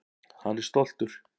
Hann er stoltur.